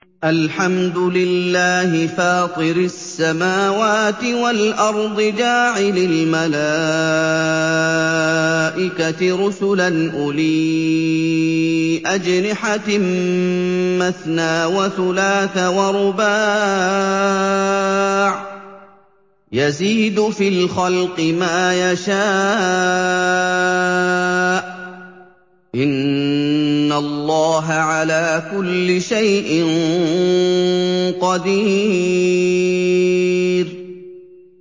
الْحَمْدُ لِلَّهِ فَاطِرِ السَّمَاوَاتِ وَالْأَرْضِ جَاعِلِ الْمَلَائِكَةِ رُسُلًا أُولِي أَجْنِحَةٍ مَّثْنَىٰ وَثُلَاثَ وَرُبَاعَ ۚ يَزِيدُ فِي الْخَلْقِ مَا يَشَاءُ ۚ إِنَّ اللَّهَ عَلَىٰ كُلِّ شَيْءٍ قَدِيرٌ